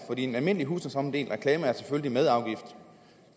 en almindelig husstandsomdelt reklame er selvfølgelig belagt med afgift